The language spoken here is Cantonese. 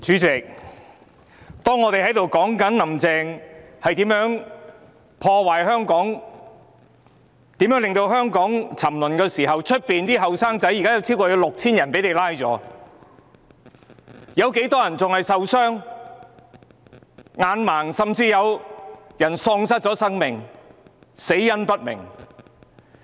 主席，當我們在談論"林鄭"如何破壞香港、如何令香港沉淪時，在外面，警方已拘捕超過 6,000 名年青人，有很多人受傷、失明，甚至有人喪命，死因不明。